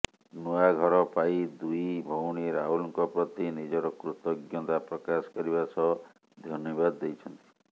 ନୂଆ ଘର ପାଇ ଦୁଇ ଭଉଣୀ ରାହୁଲଙ୍କ ପ୍ରତି ନିଜର କୃତଜ୍ଞତା ପ୍ରକାଶ କରିବା ସହ ଧନ୍ୟବାଦ ଦେଇଛନ୍ତି